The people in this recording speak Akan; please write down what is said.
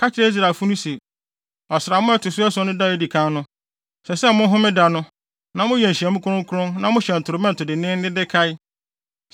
“Ka kyerɛ Israelfo se, ‘Ɔsram a ɛto so ason no da a edi kan no, ɛsɛ sɛ mohome da no, na moyɛ nhyiamu kronkron na mohyɛn torobɛnto denneennen de kae.